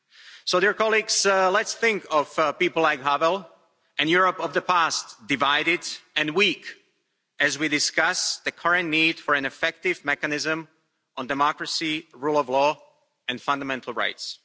So let's think of people like Havel and the Europe of the past, divided and weak, as we discuss the current need for an effective mechanism on democracy, rule of law and fundamental rights.